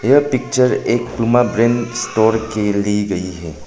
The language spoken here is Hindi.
यह पिक्चर एक पूमा ब्रांड स्टोर की ली गई है।